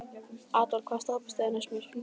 Adolf, hvaða stoppistöð er næst mér?